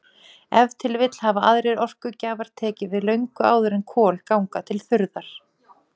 Ef til vill hafa aðrir orkugjafar tekið við löngu áður en kol ganga til þurrðar.